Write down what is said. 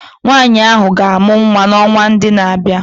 Nwanyị ahụ ga-amụ nwa n'ọnwa ndị na-abịa